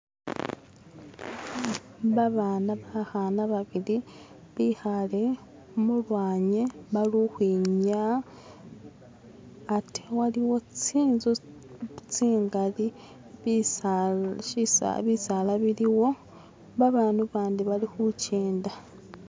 Babana bakhana babili bikhale mulwanyi baluhwinyaya ate haliwo tsinzu tsingali bisaala shisa bisaala biliwo babandu bandi bali khujenda